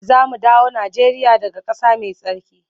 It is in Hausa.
Za mu dawo Najeriya daga ƙasa mai tsarki.